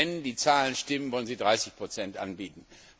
Wenn die Zahlen stimmen, wollen Sie 30 anbieten.